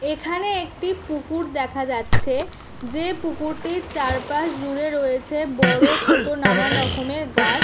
এখানে একটি পুকুর দেখা যাচ্ছে। যে পুকুরটির চারপাশ জুড়ে রয়েছে বড়ো ছোট নানারকমের গাছ।